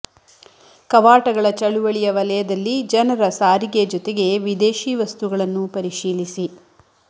ಕವಾಟಗಳ ಚಳುವಳಿಯ ವಲಯದಲ್ಲಿ ಜನರ ಸಾರಿಗೆ ಜೊತೆಗೆ ವಿದೇಶಿ ವಸ್ತುಗಳನ್ನು ಪರಿಶೀಲಿಸಿ